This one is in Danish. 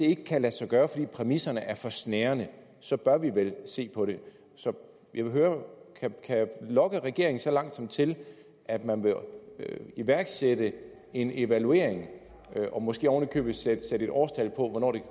ikke kan lade sig gøre fordi præmisserne er for snærende så bør vi vel se på det så jeg vil høre kan jeg lokke regeringen så langt som til at man vil iværksætte en evaluering og måske oven i købet sætte et årstal på hvornår det